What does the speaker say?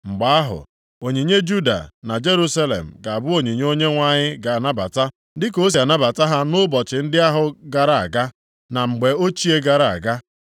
Mgbe ahụ, onyinye Juda na Jerusalem ga-abụ onyinye Onyenwe anyị ga-anabata, dịka o si anabata ha nʼụbọchị ndị ahụ gara aga, na mgbe ochie gara aga.